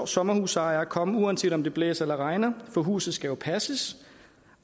sommerhusejere komme uanset om det blæser eller regner for huset skal jo passes